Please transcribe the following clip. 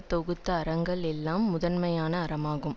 தொகுத்த அறங்களுள் எல்லாம் முதன்மையான அறமாகும்